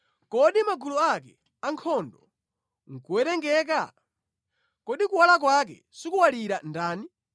Kodi magulu ake ankhondo nʼkuwerengeka? Kodi kuwala kwake sikuwalira ndani?